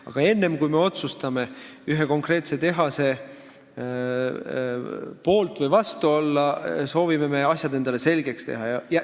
Aga enne, kui me otsustame ühe konkreetse tehase poolt või vastu olla, soovime me asjad endale selgeks teha.